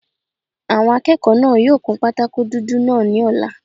Àwọn akẹ́kọ̀ọ́ náà yóò kun pátákó dúdú náà ní ọ̀la